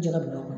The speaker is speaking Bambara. Jɛgɛ wulu kɔnɔ